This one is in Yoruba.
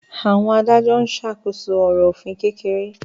Àwọn adájọ́ ń ṣàkóso ọ̀rọ̀ òfin kékeré